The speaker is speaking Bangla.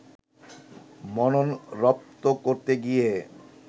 মনন রপ্ত করতে গিয়ে